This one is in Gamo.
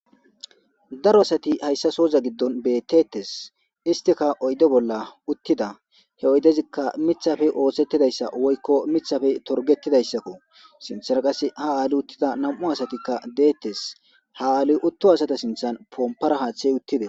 daro asati hayssa sooza giddon bettetes istika oyde bolla uttida he oydezikka mithafe oosettidayssa woykko mithafe torgetidayssakko sinthana qase ha aali uttida nam7u asatikka deettes ha7ali utto asata sinthan pompara haaththey uttide